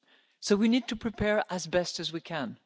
not. So we need to prepare as best we